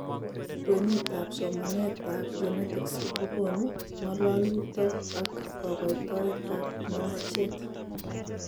Kweenut ab somanet ab genetics kokoonu ng'alalutok ak kokoitoet ab manacheet